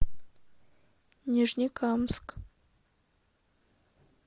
нижнекамск